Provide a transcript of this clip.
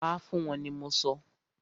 Pa fún wọ́n ni mọ sọ!